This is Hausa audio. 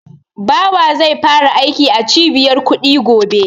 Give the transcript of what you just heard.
Bawa zai fara aiki a Cibiyar kuɗi gobe.